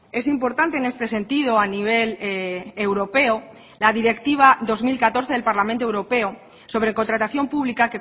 es importante en este sentido a nivel europeo la directiva dos mil catorce del parlamento europeo sobre contratación pública